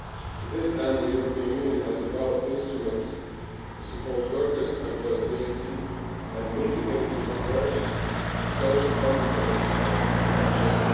To this end the European Union has developed an instrument to support workers' employability and mitigate the adverse social consequences of restructuring.